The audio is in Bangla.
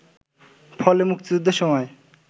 ফলে মুক্তিযুদ্ধের সময়